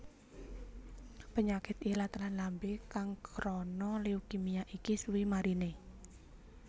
Penyakit ilat lann lambe kang krana leukemia iki suwi marine